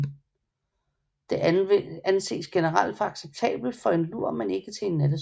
Det anses generelt for acceptabelt for en lur men ikke til en nattesøvn